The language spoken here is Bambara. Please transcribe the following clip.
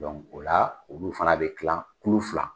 Dɔnku o la olu fana bɛ tilan kulu fila.